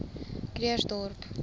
krugersdorp